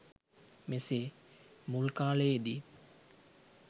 මෙසේ මුල් කාලයේදී